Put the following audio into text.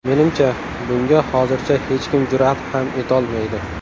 Menimcha, bunga hozircha hech kim jur’at ham etolmaydi.